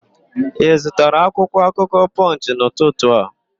Ị zụtara akwụkwọakụkọ Pọnchị n'ụtụtụ a?